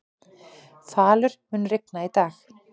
Falur, mun rigna í dag?